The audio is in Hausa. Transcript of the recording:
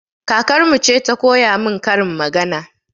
Kakarmu ce ta koya min karin magana